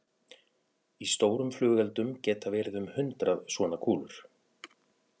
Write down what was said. Í stórum flugeldum geta verið um hundrað svona kúlur.